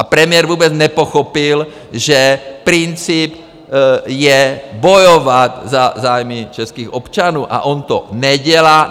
A premiér vůbec nepochopil, že princip je bojovat za zájmy českých občanů, a on to nedělá.